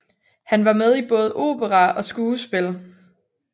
Han var med i både opera og skuespil